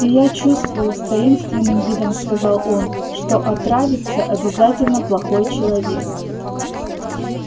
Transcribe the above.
и я чувствую с таинственным видом сказал он что отравится обязательно плохой человек